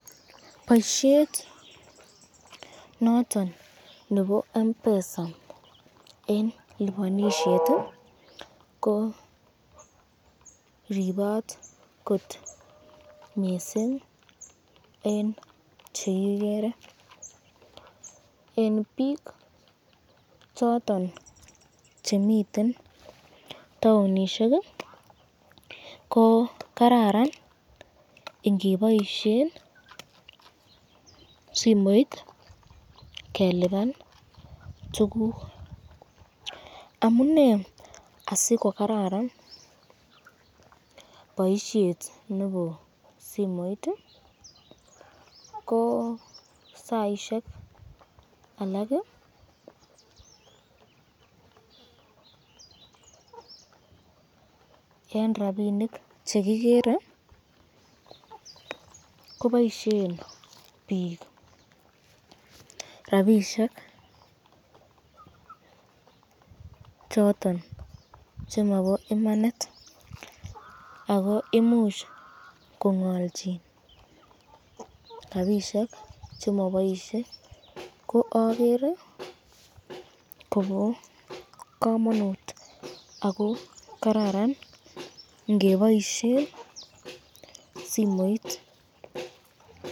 Boisyet noton nebo Mpesa eng lipanisyet ko ripat kot missing eng chekigere, eng bik choton chemiten taonishek ko Kararan ingeboisyen simoit keliban tukuk ,amune asikokararan boisyet nebo simoit, ko saisyek alak eng rapinik chekigere koboisyen eng rapishek choton chemabo imanit ako imuch kongalchin rapishek chekiboisyen ko agere Kobo kamanut ako kararan ingeboisyen simoit.